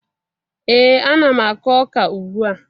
Ee, ana m akụ ọka ugbua